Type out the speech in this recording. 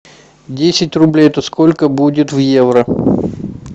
десять рублей это сколько будет в евро